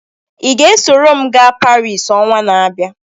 Ị ga-esoro m gaa Paris ọnwa n’abịa?